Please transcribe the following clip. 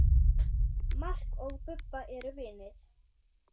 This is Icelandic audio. Mark og Bubba eru vinir.